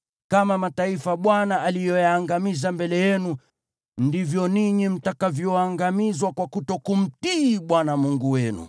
Kama mataifa Bwana aliyoyaangamiza mbele yenu, ndivyo ninyi mtakavyoangamizwa kwa kutokumtii Bwana Mungu wenu.